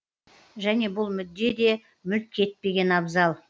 және бұл мүдде де мүлт кетпеген абзал